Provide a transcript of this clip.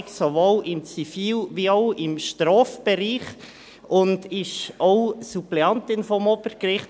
Sie hat sowohl im Zivil- wie auch im Strafbereich Erfahrung und ist auch Suppleantin am Obergericht.